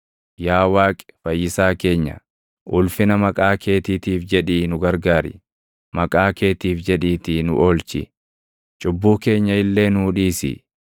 Yaa Waaqi Fayyisaa keenya, ulfina maqaa keetiitiif jedhii nu gargaari; maqaa keetiif jedhiitii nu oolchi; cubbuu keenya illee nuu dhiisi.